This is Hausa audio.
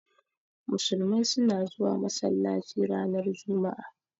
Musulmai suna zuwa masallaci ranar Juma'a.